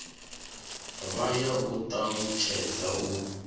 vha ya u talutshedza u